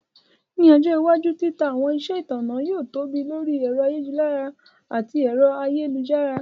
Ní ọjọ́ iwájú, títa àwọn iṣẹ́ ọnà yóò tóbi lórí ẹ̀rọ ayélujára àti ẹ̀rọ ayélujára.